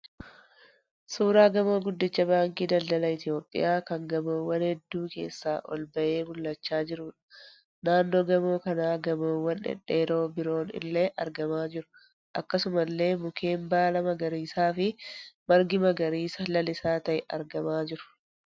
Suuraa gamoo guddicha baankii daldaala Itiyoopiyaa kan gamoowwan hedduu keessaa ol bahee mul'achaa jiruudha. Naannoo gamoo kanaa gamoowwan dhedheeroon biroo illee argamaa jiru. Akkasuma illee mukeen baala magariisaa fi margi magariisa lalisaa ta'ee argamaa jiru.